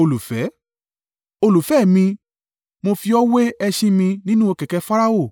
Olùfẹ́ mi, mo fi ọ́ wé ẹṣin mi nínú kẹ̀kẹ́ Farao.